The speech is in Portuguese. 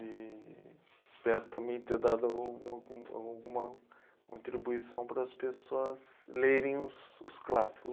E, espero também ter dado alguma gu alguma contribuição para as pessoas lerem os os clássicos.